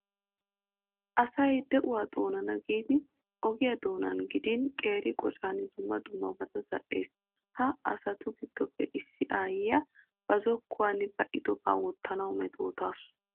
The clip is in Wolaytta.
Asay de'uwaa xoonanawu giidi ogiyaa doonan gidin, qeeri qocan dumma dummabata zal''ees. Ha asatu giddoppe issi aayyiyaa ba zokkuwan ba'idobaa wottanawu metootawusu.